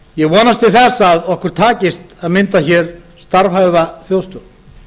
ég vonast til þess að okkur takist að mynda hér starfhæfa þjóðstjórn